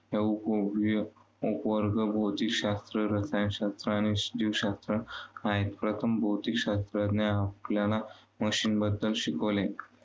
उपवर्ग भौतिकशास्त्र, रसायनशास्त्र, आणि जीवशास्त्र आहेत. प्रथम भौतिकशास्त्राने आपल्याला मशिनबद्दल शिकवले.